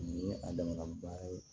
Nin ye a dama ba ye